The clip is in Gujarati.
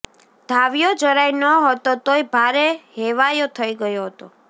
ધાવ્યો જરાય ન્હોતો તોય ભારે હેવાયો થઇ ગયો હતો